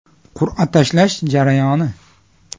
Qur’a tashlash jarayoni.